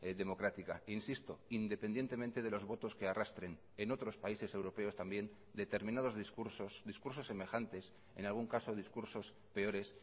democrática insisto independientemente de los votos que arrastren en otros países europeos también determinados discursos discursos semejantes en algún caso discursos peores